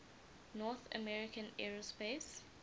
north american aerospace